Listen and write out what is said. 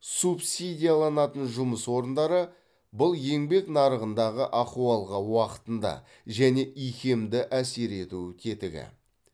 субсидияланатын жұмыс орындары бұл еңбек нарығындағы ахуалға уақытында және икемді әсер ету тетігі